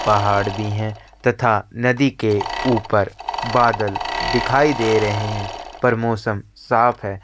पहाड़ भी है तथा नदी के ऊपर बादल दिखाई दे रहे है पर मौसम साफ है।